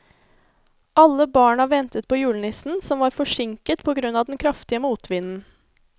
Alle barna ventet på julenissen, som var forsinket på grunn av den kraftige motvinden.